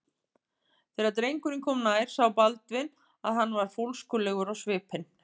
Þegar drengurinn kom nær sá Baldvin að hann var fólskulegur á svipinn.